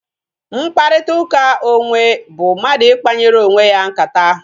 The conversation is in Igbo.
Mkparịta ụka onwe bụ mmadụ ikpanyere onwe ya nkata